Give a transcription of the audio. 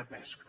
de pesca